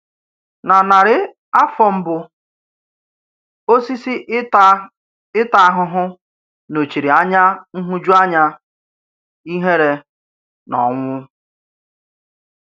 Na narị̀ áfọ̀ mbụ, òsísí ìtà ìtà àhùhù nọ́chìrì ànyà nhụ̀jụ̀ànyà, ìhèrè, nà ọnwụ̀.